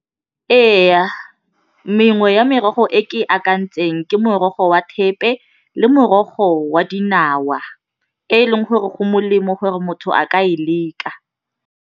Ee, mengwe ya merogo e ke e akantseng ke morogo wa thepe le morogo wa dinawa e e leng gore go molemo gore motho a ka e leka.